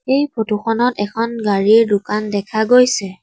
এই ফটো খনত এখন গাড়ীৰ দোকান দেখা গৈছে।